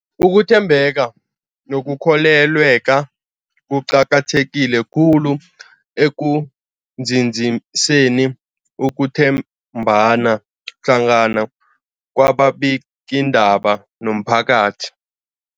Ukuthembeka nokukholweka kuqakatheke khulu ekunzinziseni ukuthembana hlangana kwababikiindaba nomphakathi.